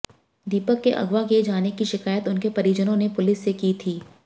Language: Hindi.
दीपक के अगवा किए जाने की शिकायत उनके परिजनों ने पुलिस से की थी